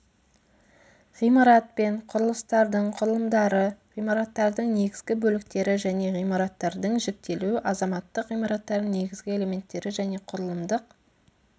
ғимарат пен құрылыстардың құрылымдары ғимараттардың негізгі бөліктері және ғимараттардың жіктелуі азаматтық ғимараттардың негізгі элементтері және құрылымдық